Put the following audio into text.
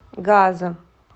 газа